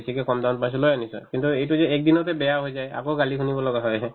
বেছিকে কম দামত পাইছো লৈ আনিছো আৰু কিন্তু এইটো যে একদিনতে বেয়া হৈ যায় আকৌ কালি কিনিব লগা হয়হে